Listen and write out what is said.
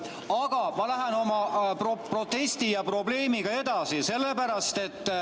Aga ma lähen oma protesti ja probleemiga edasi.